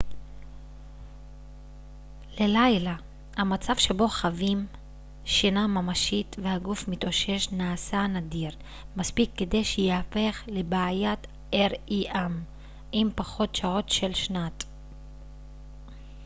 עם פחות שעות של שנת rem ללילה המצב שבו חווים שינה ממשית והגוף מתאושש נעשה נדיר מספיק כדי שייהפך לבעיה